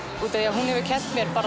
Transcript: hún hefur kennt mér